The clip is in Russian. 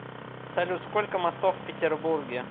салют сколько мостов в петербурге